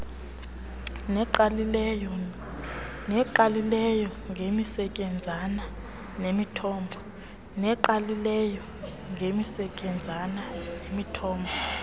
nengqalileyo ngemisetyenzana nemithombo